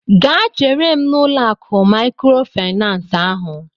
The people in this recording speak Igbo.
Gaa chere m n'ụlọ akụ maịkrofaịnans ahụ!